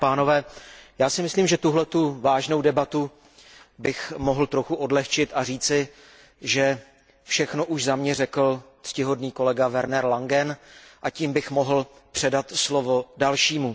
Vážená paní předsedající, já si myslím, že tuhletu vážnou debatu bych mohl trochu odhlehčit a říci, že všechno už za mě řekl ctihodný kolega Werner Langen a tím bych mohl předat slovo dalšímu.